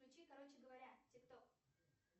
включи короче говоря тик ток